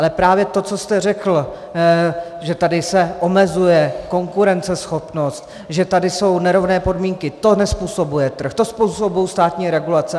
Ale právě to, co jste řekl, že tady se omezuje konkurenceschopnost, že tady jsou nerovné podmínky, to nezpůsobuje trh, to způsobují státní regulace.